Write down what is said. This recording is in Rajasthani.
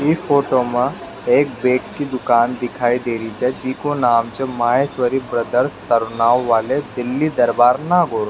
इस फोटो मे एक बैग की दुकान दिखाई दे री छे जिको नाम है महेशवरी र्दर्स तरनाऊ वाले दिल्ली दरबार नागौर।